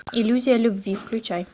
иллюзия любви включай